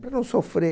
para não sofrer.